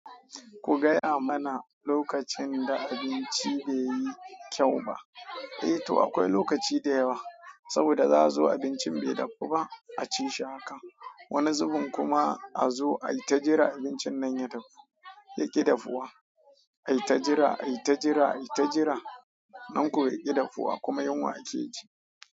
Ku gaya mana locakin da abinchi bayi kau ba eh to akwai lokaci da yawa saboda za a zo abincin be dafu ba, a ci shi haka wani zubin kuma a zo ayi ta jiran abincin nan ya dafu, ya ƙi dafuwa. Ai ta jira, ai ta jira, ai ta jira. Nan kuwa ya ƙi dafuwa kuma yunwa ake ji.